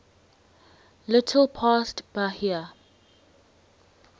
little past bahia